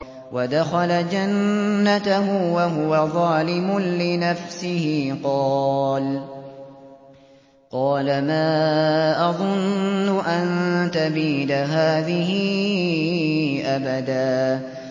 وَدَخَلَ جَنَّتَهُ وَهُوَ ظَالِمٌ لِّنَفْسِهِ قَالَ مَا أَظُنُّ أَن تَبِيدَ هَٰذِهِ أَبَدًا